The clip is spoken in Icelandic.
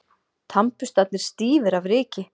Tannburstarnir stífir af ryki.